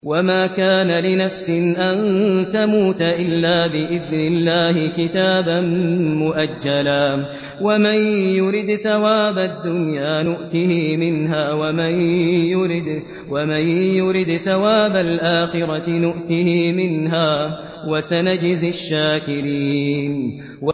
وَمَا كَانَ لِنَفْسٍ أَن تَمُوتَ إِلَّا بِإِذْنِ اللَّهِ كِتَابًا مُّؤَجَّلًا ۗ وَمَن يُرِدْ ثَوَابَ الدُّنْيَا نُؤْتِهِ مِنْهَا وَمَن يُرِدْ ثَوَابَ الْآخِرَةِ نُؤْتِهِ مِنْهَا ۚ وَسَنَجْزِي الشَّاكِرِينَ